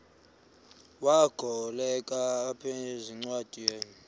wagokelela abaphengululi zincwadi